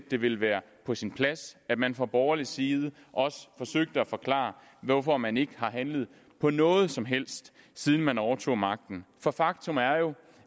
det ville være på sin plads at man fra borgerlig side også forsøgte at forklare hvorfor man ikke har handlet på noget som helst siden man overtog magten for faktum er jo